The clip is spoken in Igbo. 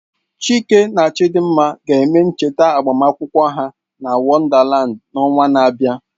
Chike na Chidimma ga-eme ncheta agbamakwụkwọ ha na Wonderland n'ọnwa na-abịa